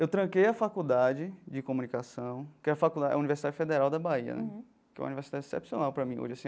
Eu tranquei a faculdade de comunicação, que é a faculda é a Universidade Federal da Bahia, que é uma universidade excepcional para mim hoje assim.